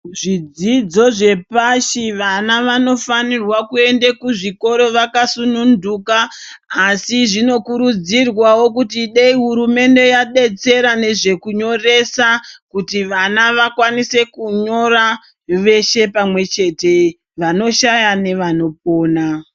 Zvidzidzo zvepashi vana vanofanirwe kuende kuzvikoro vakasununduka. Asi zvinokurudzirwavo kuti dei hurumende yabetsera nezvekunyoresa. Kuti vana vakwanise kunyora veshe pamwe chete vanoshaya nevanopona.